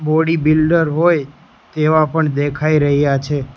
Body builder હોય તેવા પણ દેખાય રહ્યા છે.